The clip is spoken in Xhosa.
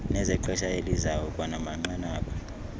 nezexesha elizayo kwanamanqanaba